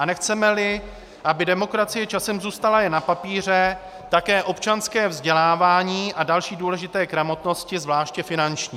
A nechceme-li, aby demokracie časem zůstala jen na papíře, také občanské vzdělávání a další důležité gramotnosti, zvláště finanční.